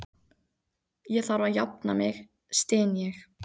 Ég þarf að jafna mig, styn ég.